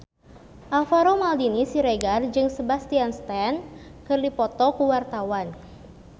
Alvaro Maldini Siregar jeung Sebastian Stan keur dipoto ku wartawan